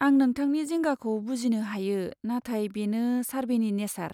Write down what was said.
आं नोंथांनि जिंगाखौ बुजिनो हायो, नाथाय बेनो सार्भेनि नेसार।